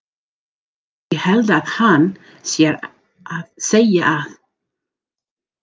Ég held að hann sé að segja að.